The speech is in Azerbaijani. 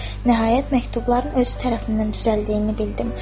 Nəhayət, məktubların özü tərəfindən düzəldiyini bildim.